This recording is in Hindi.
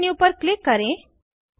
व्यू मेन्यू पर क्लिक करें